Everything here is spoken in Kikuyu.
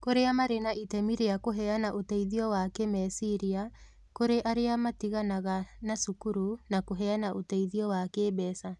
Kũrĩa marĩ na itemi rĩa kũheana ũteithio wa kĩĩmeciria kũrĩ arĩa matiganaga na cukuru, na kũheana ũteithio wa kĩĩmbeca.